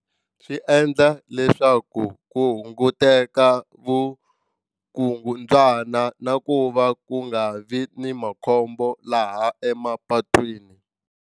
Swi endla leswaku ku hunguteka vukungundzwana na ku va ku nga vi ni makhombo laha emapatwini.